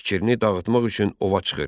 Fikrini dağıtmaq üçün ova çıxır.